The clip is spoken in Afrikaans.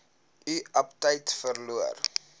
u aptyt verloor